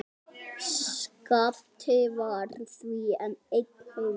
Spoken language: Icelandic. Skapti var því einn heima.